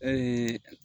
Ee